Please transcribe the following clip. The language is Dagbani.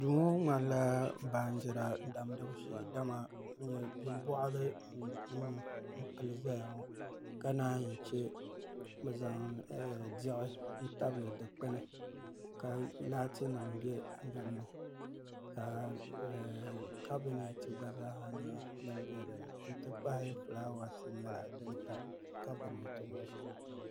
Duu ŋmanaila baanjira damdibu shee dama bin boɣali n pili ʒɛya ŋɔ ka naan yi chɛ bi zaŋ diɣi tabili dikpuni ka laati nim bɛ dinni ka kabinɛt gba zaaha nyɛ din bɛ dinni n ti pahi fulaawaasi nim gba nyɛla din tam kabinɛt ŋɔ zuɣu